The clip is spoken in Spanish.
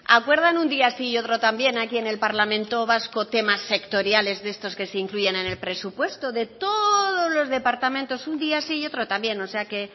acuerdan un día sí y otro también aquí en el parlamento vasco temas sectoriales de estos que se incluyen en el presupuesto de todos los departamentos un día sí y otro también o sea que